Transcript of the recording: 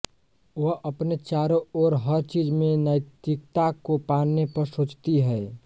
वह अपने चारों ओर हर चीज़ में नैतिकता को पाने पर सोचती है